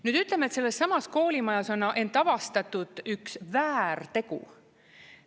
Nüüd, ütleme, et sellessamas koolimajas on avastatud üks väärtegu.